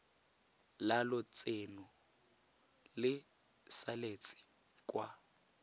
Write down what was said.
la lotseno le saletse kwa